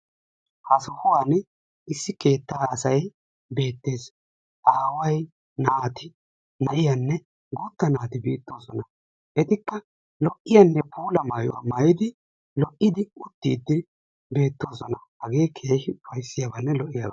ha sohuwaan issi keettaa asay beettes. aaway naati na'iyaanne guutta naati beetosona. etikka lo'iyaanne puula mayuwaa maayidi lo'iddi uttiiddi beetoosona. hagee keehippe ufaysiyaabanne lo"iyaaba.